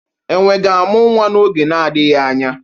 Enwe ga-amụ nwa n'oge na-adịghị anya.